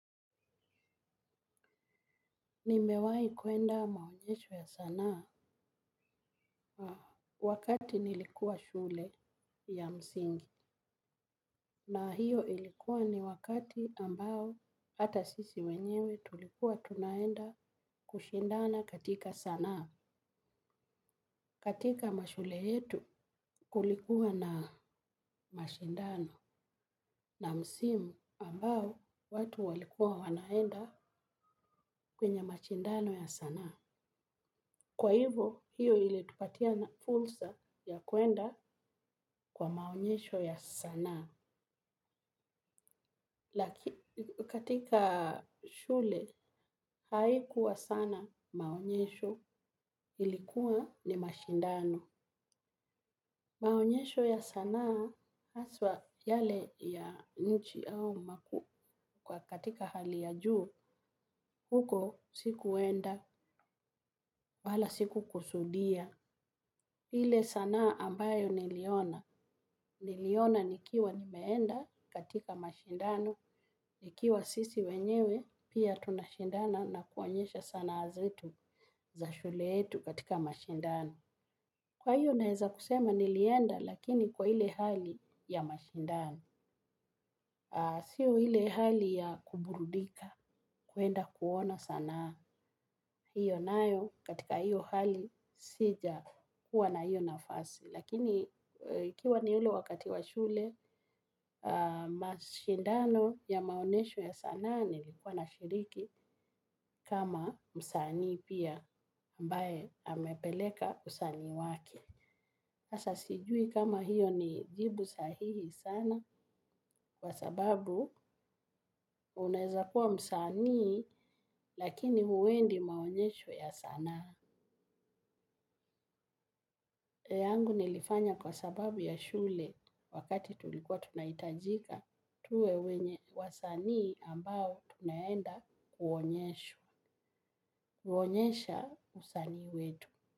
Nimewai kuenda maonyesho ya sanaa wakati nilikuwa shule ya msingi na hiyo ilikuwa ni wakati ambao hata sisi wenyewe tulikuwa tunaenda kushindana katika sanaa. Katika mashule yetu kulikuwa na mashindano na msimu ambao watu walikuwa wanaenda kwenye mashindano ya sanaa. Kwa hivo, hiyo ili tupatia na fursa ya kuenda kwa maonyesho ya sanaa. Katika shule, haikuwa sana maonyesho ilikuwa ni mashindano. Maonyesho ya sanaa, haswa yale ya nchi au kwa katika hali ya juu, huko sikuenda, wala sikukusudia. Ile sanaa ambayo niliona. Niliona nikiwa ninaenda katika mashindano. Ikiwa sisi wenyewe pia tunashindana na kuonyesha sanaa zetu za shule yetu katika mashindano. Kwa hiyo naeza kusema nilienda lakini kwa ile hali ya mashindano. Sio ile hali ya kuburudika. Kuenda kuona sanaa. Hiyo nayo katika hiyo hali sijakuwa na hiyo nafasi. Lakini ikiwa ni ule wakati wa shule, mashindano ya maonyesho ya sanaa nilikuwa nashiriki kama msanii pia ambae amepeleka usanii wake. Sasa sijui kama hiyo ni jibu sahihi sana? Kwa sababu unaeza kuwa msanii lakini huendi maonyesho ya sanaa. Yangu nilifanya kwa sababu ya shule wakati tulikuwa tunaitajika tuwe wenye wasanii ambao tunaenda kuonyesha usanii wetu.